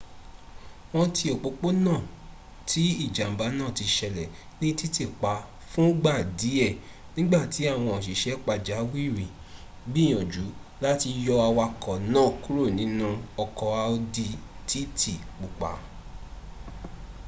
wọn ti ọpọpọna ti ijamba naa ti ṣẹlẹ ni titipa fun gba diẹ nigbati awọn oṣiṣẹ pajawiri gbiyanju lati yọ awakọ naa kuro ninu ọkọ audi tt pupa